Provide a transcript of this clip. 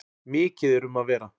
Mikið er um að vera.